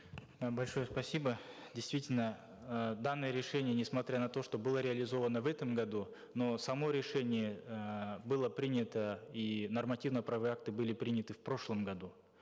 э большое спасибо действительно э данное решение несмотря на то что было реализовано в этом году но само решение эээ было принято и нормативно правовые акты были приняты в прошлом году